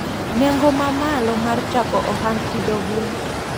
Nengo mamalo mar chako ohand pidho gwen.